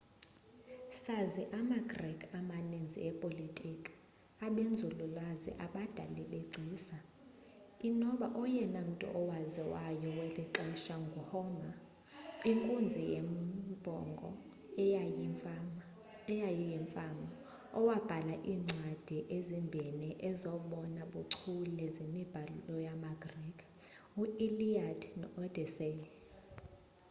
sazi ama-greek amaninzi epolitiki abenzululwazi abadali begcisa inoba oyena mmtu owaziwayo welixesha ngu-homer inkunzi yembongo eyayiyimfama owabhala iimcwadi ezimbhini ezobona buchule zemibhalo yama-greek u-iliad no-odyssey